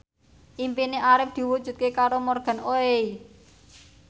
impine Arif diwujudke karo Morgan Oey